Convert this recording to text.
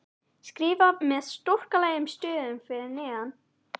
skrifað með stórkarlalegum stöfum fyrir neðan.